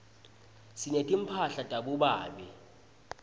sinetimphala tabobabe